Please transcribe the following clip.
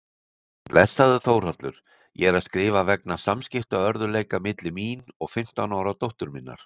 Blessaður Þórhallur, ég er að skrifa vegna samskiptaörðugleika milli mín og fimmtán ára dóttur minnar.